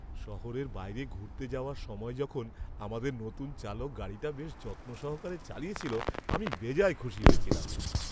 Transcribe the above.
শহরের বাইরে ঘুরতে যাওয়ার সময় যখন আমাদের নতুন চালক গাড়িটা বেশ যত্ন সহকারে চালিয়েছিল আমি বেজায় খুশি হয়েছিলাম।